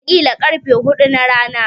Wataƙila ƙarfe huɗu na rana.